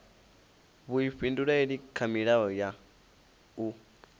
vhuifhinduleli kha milayo ya u